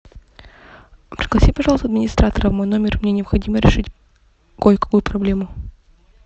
пригласи пожалуйста администратора в мой номер мне необходимо решить кое какую проблему